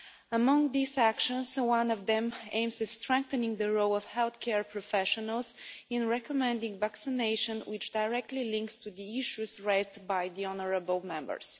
Among these actions, one of them aims at strengthening the role of healthcare professionals in recommending vaccination, which directly links to the issues raised by the honourable Members.